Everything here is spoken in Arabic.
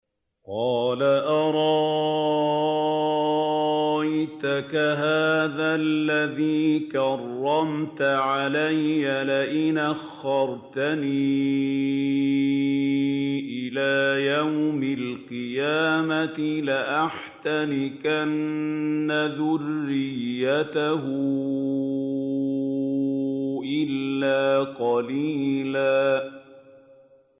قَالَ أَرَأَيْتَكَ هَٰذَا الَّذِي كَرَّمْتَ عَلَيَّ لَئِنْ أَخَّرْتَنِ إِلَىٰ يَوْمِ الْقِيَامَةِ لَأَحْتَنِكَنَّ ذُرِّيَّتَهُ إِلَّا قَلِيلًا